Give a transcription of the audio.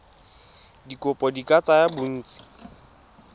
dikopo di ka tsaya bontsi